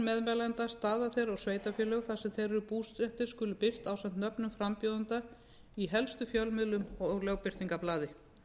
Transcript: meðmælenda staða þeirra og sveitarfélög þar sem þeir eru búsettir skulu birt ásamt nöfnum frambjóðenda í helstu fjölmiðlum og lögbirtingablaði